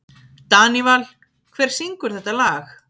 Danival, hver syngur þetta lag?